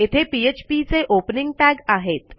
येथे पीएचपी चे opening tag आहेत